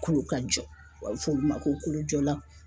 Kolo ka jɔ w'a be fɔ olu ma ko kolojɔlanw